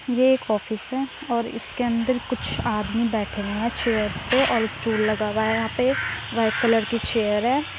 ये एक ऑफिस हैं और इसके अंदर कुछ आदमी बैठे हुए हैं चेयर्स पे और स्टूल लगा हुआ है यहाँ पे वाइट कलर की चेयर है।